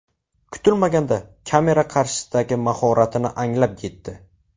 Kutilmaganda kamera qarshisidagi mahoratini anglab yetdi.